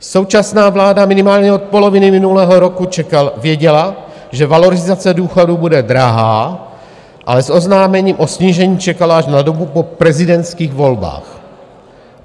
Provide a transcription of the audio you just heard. Současná vláda minimálně od poloviny minulého roku věděla, že valorizace důchodů bude drahá, ale s oznámením o snížení čekala až na dobu po prezidentských volbách.